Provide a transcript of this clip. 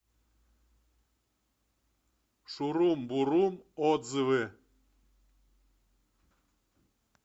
шурум бурум отзывы